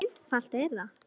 Svo einfalt er það!